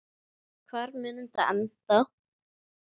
Hvar mun þetta enda?